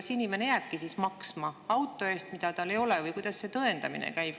Kas inimene jääbki maksma auto eest, mida tal enam ei ole, või kuidas see tõendamine käib?